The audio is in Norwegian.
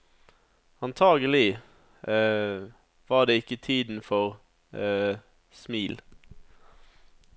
Antagelig var det ikke tiden for smil.